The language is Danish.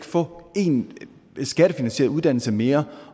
få en skattefinansieret uddannelse mere